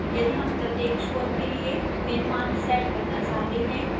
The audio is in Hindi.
यदि हम प्रत्येक छोर के लिए भिन्न मान set करना चाहते हैं